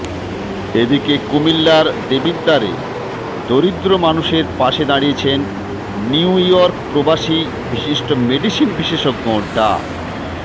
এদিকে কুমিল্লার দেবিদ্বারে দরিদ্র মানুষের পাশে দাঁড়িয়েছেন নিউইয়র্ক প্রবাসী বিশিষ্ট মেডিসিন বিশেষজ্ঞ ডা